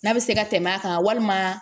N'a bɛ se ka tɛmɛ a kan walima